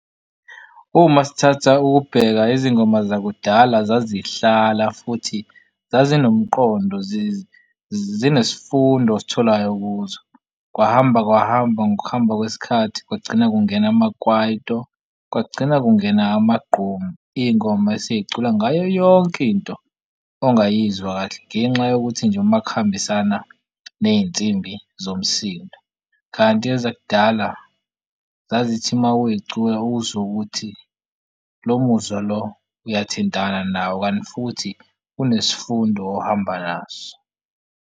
Uma sithatha ukubheka izingoma zakudala zazihlala futhi zazi nomqondo zenesifundo ositholayo kuzo. Kwahamba kwahamba ngokuhamba kwesikhathi, kwagcina kungena amakwaito kwagcina kungena amagqomu. Iy'ngoma esey'cula ngayo yonke into ongayizwa kahle. Ngenxa yokuthi nje uma kuhambisana ney'nsimbi zomsindo, kanti ezakudala zazithi uma uyicula uzwe ukuthi lo muzwa lo uyathintana nawo kanti futhi unesifundo ohamba naso.